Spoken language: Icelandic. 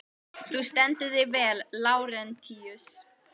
Þú stendur þig vel, Lárentíus!